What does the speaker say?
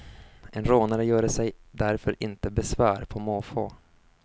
En rånare göre sig därför inte besvär på måfå.